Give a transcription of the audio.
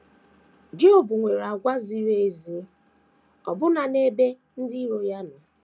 Job nwere àgwà ziri ezi ọbụna n’ebe ndị iro ya nọ.